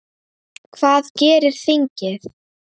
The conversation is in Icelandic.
Hvað gerir þingið?